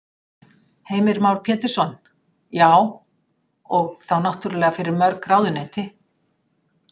Heimir Már Pétursson: Já, og þá náttúrulega fyrir mörg ráðuneyti?